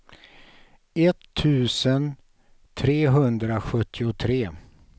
etttusen trehundrasjuttiotre